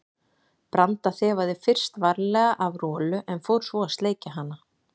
Branda þefaði fyrst varlega af Rolu en fór svo að sleikja hana.